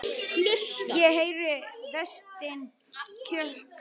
Ég heyri Véstein kjökra.